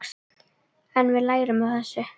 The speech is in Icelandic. En við lærum af þessu.